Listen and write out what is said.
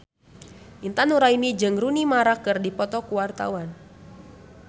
Intan Nuraini jeung Rooney Mara keur dipoto ku wartawan